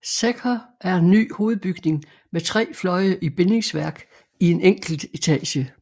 Secher en ny hovedbygning med tre fløje i bindingsværk i en enkelt etage